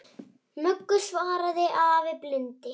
Möggu, svaraði afi blindi.